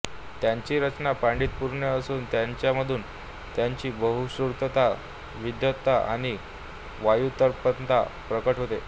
त्यांची रचना पांडित्यपूर्ण असून तिच्यामधून त्यांची बहुश्रुतता विद्वत्ता आणि व्युत्पन्नता प्रकट होते